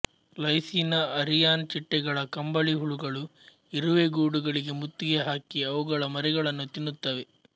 ಲೈಸೀನ ಅರಿಯಾನ್ ಚಿಟ್ಟೆಗಳ ಕಂಬಳಿಹುಳುಗಳು ಇರುವೆ ಗೂಡುಗಳಿಗೆ ಮುತ್ತಿಗೆ ಹಾಕಿ ಅವುಗಳ ಮರಿಗಳನ್ನು ತಿನ್ನುತ್ತವೆ